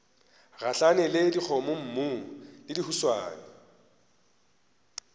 gahlana le dikgomommuu le dihuswane